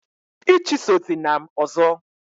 ichusozina m ọzọ!